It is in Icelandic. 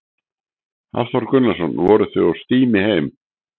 Hafþór Gunnarsson: Voruð þið á stími heim?